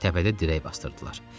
Təpədə dirək basdırdılar.